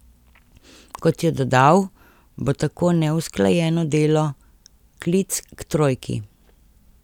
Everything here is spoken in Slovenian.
Kot je dodal, bo tako neusklajeno delo klic k trojki.